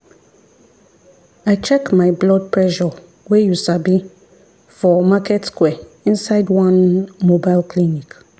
i check my blood pressure wey you sabi for market square inside one mobile clinic.